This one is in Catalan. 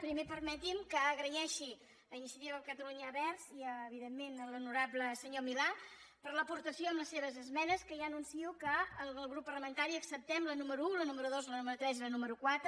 primer permeti’m que agraeixi a iniciativa per catalunya verds i evidentment a l’honorable senyor milà l’aportació amb les seves esmenes que ja anuncio que el grup parlamentari acceptem la número un la número dos la número tres i la número quatre